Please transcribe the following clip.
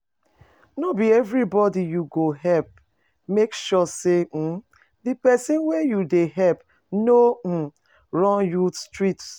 No be everybody you go help make sure say um the persin wey you de help no um run you street